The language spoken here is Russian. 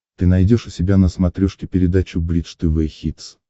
ты найдешь у себя на смотрешке передачу бридж тв хитс